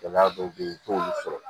Gɛlɛya dɔw be yen i t'olu sɔrɔ